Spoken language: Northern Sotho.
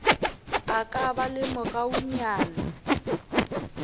a ka ba le mogaunyana